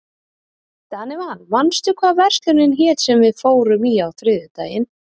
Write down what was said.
Danival, manstu hvað verslunin hét sem við fórum í á þriðjudaginn?